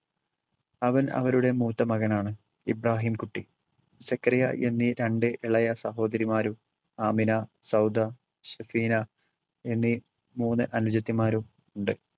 അവൻ അവരുടെ മൂത്ത മകനാണ്. ഇബ്രഹിം കുട്ടി, സക്കറിയ എന്നീ രണ്ടു ഇളയ സഹോദരിമാരും, ആമിന, സൗദ, ഷെഫീന എന്നീ മൂന്ന് അനുജത്തിമാരും ഉണ്ട്.